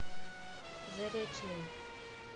заречным